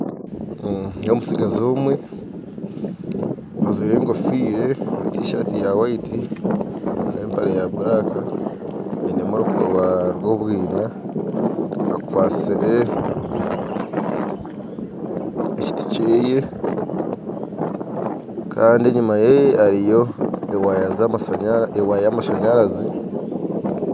Nindeeba omutsigazi omwe ajwire egofiira na tishaati ya white n'empare ya black ainemu orukooba rw'obwiina akwatsire ekiti kyeye kandi enyima ye hariyo ewaaya yamashaanyarazi